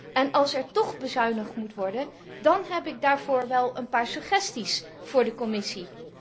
En als er tóch bezuinigd moet worden, dan heb ik daarvoor wel een paar suggesties aan de Commissie.